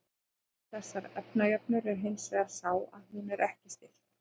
gallinn við þessa efnajöfnu er hins vegar sá að hún er ekki stillt